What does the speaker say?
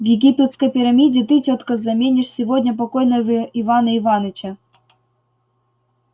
в египетской пирамиде ты тётка заменишь сегодня покойного ивана иваныча